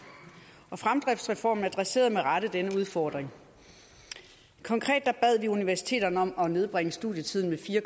og fremdriftsreformen adresserede med rette denne udfordring konkret bad vi universiteterne om at nedbringe studietiden med fire